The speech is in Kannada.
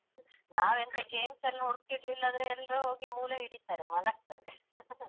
ನಾವೆಂತ games ಎಲ್ಲ ಹುಡ್ಕಿಲ್ಲಾಂದ್ರೆ ಎಲ್ರು ಹೋಗಿ ಮೂಲೆ ಹಿಡೀತಾರೆ ಮಲಗ್ತಾರೆ.